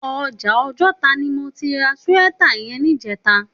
Òjà Ojota ni mó ti rà síwètá yèn nijètá